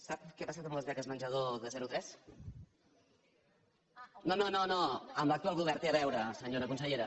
sap què ha passat amb les beques menjador de zero a tres no no no amb l’actual govern té a veure senyora consellera